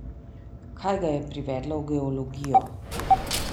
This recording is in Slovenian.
Kaj ga je privedlo v geologijo?